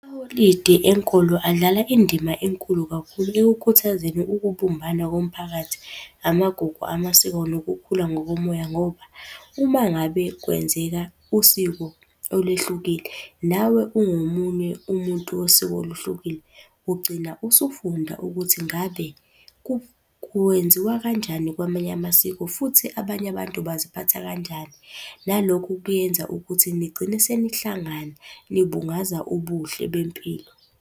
Amaholidi enkolo adlala indima enkulu kakhulu ekukhuthazeni ukubumbana komphakathi, amagugu, amasiko, nokukhula ngokomoya ngoba uma ngabe kwenzeka usiko olwehlukile, nawe ungomunye umuntu wosiko olwehlukile ugcina usufunda ukuthi ngabe kwenziwa kanjani kwamanye amasiko. Futhi abanye abantu baziphatha kanjani? Nalokhu kuyenza ukuthi nigcine senihlangana, nibungaza ubuhle bempilo.